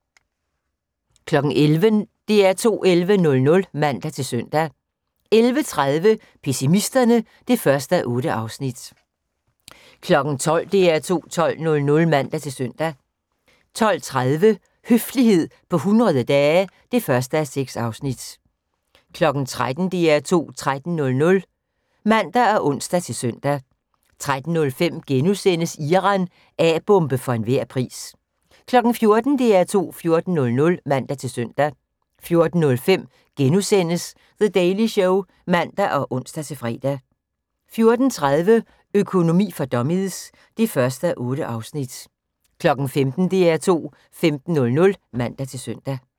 11:00: DR2 11.00 (man-søn) 11:30: Pessimisterne (1:8) 12:00: DR2 12.00 (man-søn) 12:30: Høflighed på 100 dage (1:6) 13:00: DR2 13.00 (man og ons-søn) 13:05: Iran – A-bombe for enhver pris * 14:00: DR2 14.00 (man-søn) 14:05: The Daily Show *(man og ons-fre) 14:30: Økonomi for dummies (1:8) 15:00: DR2 15.00 (man-søn)